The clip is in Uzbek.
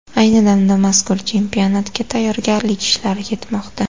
Ayni damda mazkur chempionatga tayyorgarlik ishlari ketmoqda.